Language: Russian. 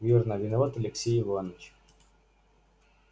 верно виноват алексей иваныч